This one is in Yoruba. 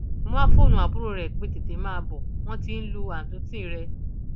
mo wáá fóònù àbúrò ẹ pé tètè máa bọ wọn tí ń lu àtúntì rẹ